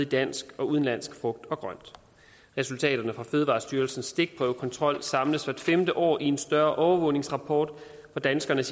dansk og udenlandsk frugt og grønt resultaterne fra fødevarestyrelsens stikprøvekontrol samles hvert femte år i en større overvågningsrapport hvor danskerne